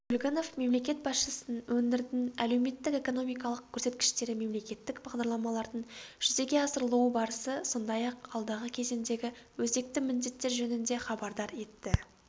көлгінов мемлекет басшысын өңірдің әлеуметтік-экономикалық көрсеткіштері мемлекеттік бағдарламалардың жүзеге асырылу барысы сондай-ақ алдағы кезеңдегі өзекті міндеттер жөнінде хабардар етті